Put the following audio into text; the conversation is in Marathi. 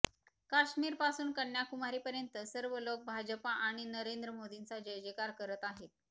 काश्मीर पासून कन्याकुमारीपर्यंत सर्व लोक भाजप आणि नरेंद्र मोदींचा जयजयकार करत आहेत